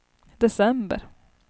december